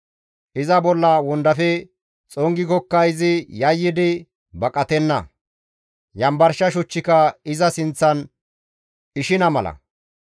Iza bolla wondafe xongikokka izi yayyidi baqatenna; Yanbarsha shuchchika iza sinththan ishina mala.